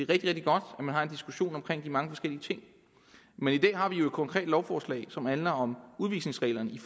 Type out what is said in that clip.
rigtig godt at man har en diskussion om de mange forskellige ting men i dag har vi jo et konkret lovforslag som handler om udvisningsreglerne i